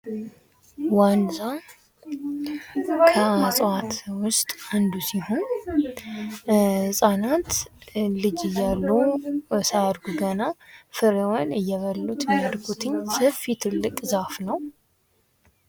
ዋንዛ እጽዋት ውስጥ አንዱ ሲሆን ህጻናት ልጅ እያሉ ሳያድጉ ገና ፍሬዋን እየበሉት የሚያድጉት ሰፊ ትልቅ ዛፍ ነው።